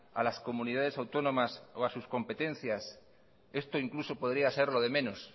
a las comunidades autónomas o a sus competencias esto incluso podría ser lo de menos